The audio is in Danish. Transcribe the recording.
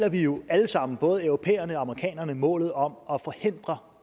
at vi jo alle sammen både europæerne og amerikanerne deler målet om